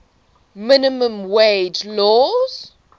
minimum wage laws